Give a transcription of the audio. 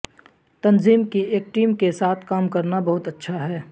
تنظیم کی ایک ٹیم کے ساتھ کام کرنا بہت اچھا ہے